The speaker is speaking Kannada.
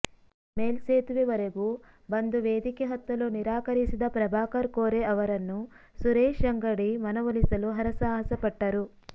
ಮೇಲ್ಸೇತುವೆವರೆಗೂ ಬಂದು ವೇದಿಕೆ ಹತ್ತಲು ನಿರಾಕರಿಸಿದ ಪ್ರಭಾಕರ ಕೋರೆ ಅವರನ್ನು ಸುರೇಶ ಅಂಗಡಿ ಮನವೊಲಿಸಲು ಹರಸಾಹಸಪಟ್ಟರು